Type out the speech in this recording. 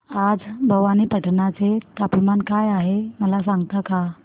आज भवानीपटना चे तापमान काय आहे मला सांगता का